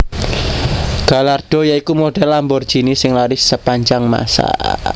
Gallardo ya iku model Lamborghini sing laris sepanjang masa